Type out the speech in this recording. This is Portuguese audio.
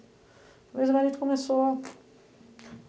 Depois a gente começou.